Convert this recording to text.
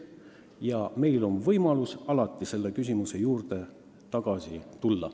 Ning meil on võimalus alati selle küsimuse juurde tagasi tulla.